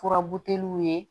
Furabuteliw ye